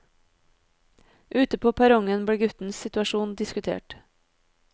Ute på perrongen ble guttens situasjon diskutert.